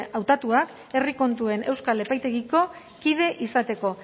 hautatuak herri kontuen euskal epaitegiko kide izateko